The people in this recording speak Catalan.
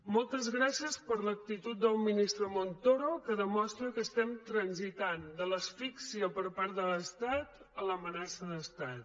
moltes gràcies per l’actitud del ministre montoro que demostra que transitem de l’asfíxia per part de l’estat a l’amenaça d’estat